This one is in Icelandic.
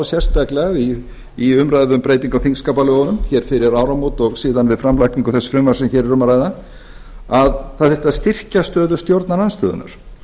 sérstaklega í umræðu um breytingu á þingskapalögunum hér fyrir áramót og síðan við framlagningu þess frumvarps sem hér er um að ræða að það þyrfti að styrkja stöðu stjórnarandstöðunnar